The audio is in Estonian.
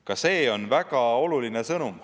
Ka see on väga oluline sõnum.